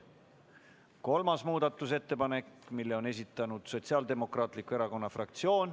Kolmanda muudatusettepaneku on esitanud Sotsiaaldemokraatliku Erakonna fraktsioon.